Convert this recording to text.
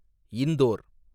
Indore